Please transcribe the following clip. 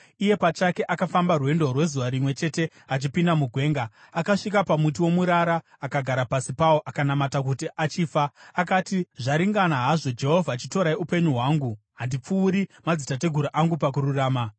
iye pachake akafamba rwendo rwezuva rimwe chete achipinda mugwenga. Akasvika pamuti womurara, akagara pasi pawo akanamata kuti achifa. Akati, “Zvaringana hazvo, Jehovha. Chitorai upenyu hwangu; handipfuuri madzitateguru angu pakururama.”